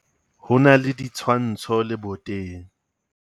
Ho na le ditshwantsho leboteng.